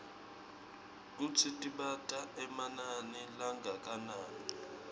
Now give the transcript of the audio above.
kutsi tibita emanani langakanani